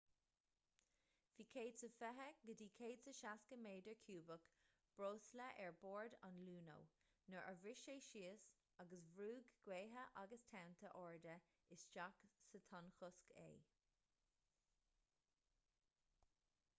bhí 120-160 méadar ciúbach breosla ar bord an luno nuair a bhris sé síos agus bhrúigh gaotha agus tonnta arda isteach sa tonnchosc é